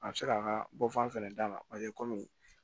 A bɛ se k'a ka bɔfan fɛnɛ dama paseke kɔmi